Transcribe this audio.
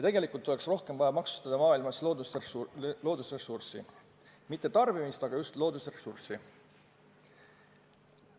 Tegelikult oleks kogu maailmas rohkem vaja maksustada loodusressurssi – mitte tarbimist, vaid just loodusressurssi.